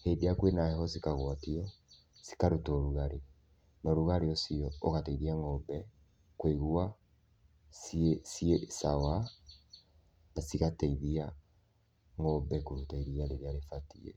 Hĩndĩ ĩrĩa kwĩna heho cikagwatio cikaruta ũrugarĩ, na ũrugarĩ ũcio-rĩ, ũgateithia ng'ombe kũigua ciĩ ciĩ sawa na cigateithia ng'ombe kũruta iriia rĩrĩa rĩbatiĩ.